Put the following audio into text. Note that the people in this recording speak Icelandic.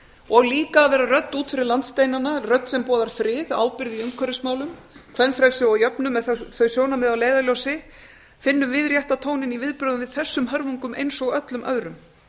og líka að vera rödd út fyrir landsteinana rödd sem boðar frið ábyrgð í umhverfismálum kvenfrelsi og jöfnuð með þau sjónarmið að leiðarljósi finnum við rétta tóninn í viðbrögðum við þessum hörmungum eins og öllum öðrum